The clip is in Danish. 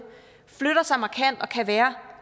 flytter